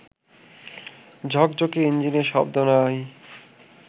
ঝকঝকে ইঞ্জিনে শব্দ নাই